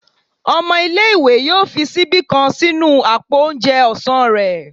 ọmọ ìlé-ìwé yọọ fi síbí kán sínú apó oúnjẹ ọsán rẹ